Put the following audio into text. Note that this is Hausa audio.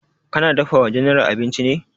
Ka na dafa wa general abinci ne?